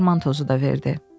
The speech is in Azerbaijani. Dərman tozu da verdi.